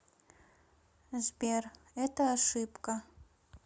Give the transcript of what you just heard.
сбер это ошибка